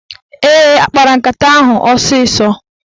Ee, ha kpara nkata ahụ osịsọ.